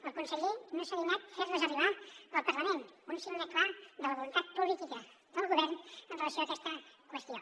el conseller no s’ha dignat a fer les arribar al parlament un signe clar de la voluntat política del govern amb relació a aquesta qüestió